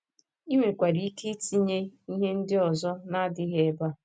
I nwekwara ike itinye ihe ndị ọzọ na - adịghị ebe a